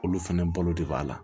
Olu fɛnɛ balo de b'a la